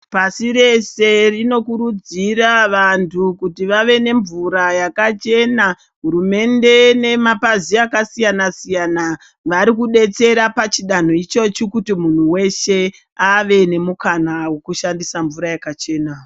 Pasi rese rinokurudzira vantu kuti vave nemvura yakachena. Hurumende nemapazi akasiyana siyana, varikudetsera pachidano ichochi kuti munhu weshe ave nemukana wokushandisa mvura yakachena.